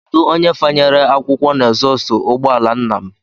Kedụ onye fanyere akwụkwọ na ezọstụ ụgbọala nna m?